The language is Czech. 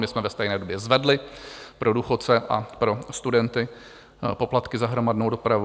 My jsme ve stejné době zvedli pro důchodce a pro studenty poplatky za hromadnou dopravu.